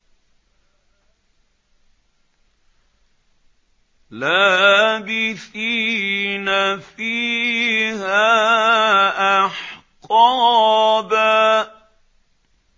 لَّابِثِينَ فِيهَا أَحْقَابًا